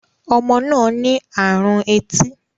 Ọmọ náà ní àrùn etí